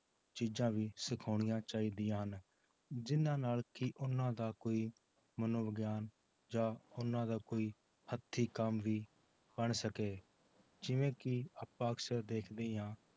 ਚੀਜ਼ਾਂ ਵੀ ਸਿਖਾਉਣੀਆਂ ਚਾਹੀਦੀਆਂ ਹਨ ਜਿੰਨਾਂ ਨਾਲ ਕਿ ਉਹਨਾਂ ਦਾ ਕੋਈ ਮਨੋਵਿਗਿਆਨ ਜਾਂ ਉਹਨਾਂ ਦਾ ਕੋਈ ਹੱਥੀ ਕੰਮ ਵੀ ਬਣ ਸਕੇ ਜਿਵੇਂ ਕਿ ਆਪਾਂ ਅਕਸਰ ਦੇਖਦੇ ਹਾਂ